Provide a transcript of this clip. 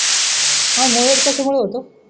हा मुळव्याध कशामुळ होतो.